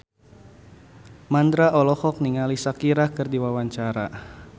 Mandra olohok ningali Shakira keur diwawancara